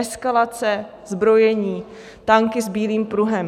Eskalace, zbrojení, tanky s bílým pruhem.